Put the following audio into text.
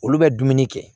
Olu bɛ dumuni kɛ